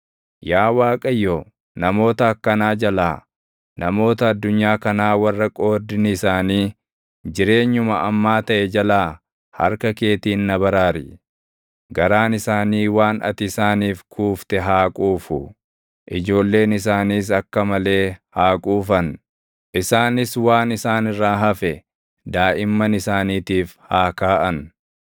Yaa Waaqayyo, namoota akkanaa jalaa, namoota addunyaa kanaa warra qoodni isaanii jireenyuma ammaa taʼe jalaa // harka keetiin na baraari. Garaan isaanii waan ati isaaniif kuufte haa quufu; ijoolleen isaaniis akka malee haa quufan; isaanis waan isaan irraa hafe daaʼimman isaaniitiif haa kaaʼan.